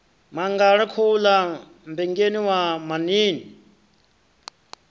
mangala khouḽa mmbengeni wa maṋiini